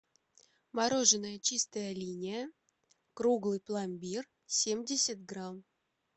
мороженое чистая линия круглый пломбир семьдесят грамм